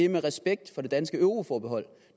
med respekt for det danske euroforbehold